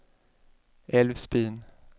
Älvsbyn